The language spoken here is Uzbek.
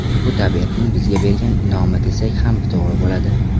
Bu tabiatning bizga bergan in’omi, desak ham to‘g‘ri bo‘ladi.